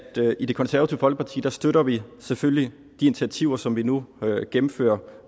i det konservative folkeparti støtter vi selvfølgelig de initiativer som vi nu gennemfører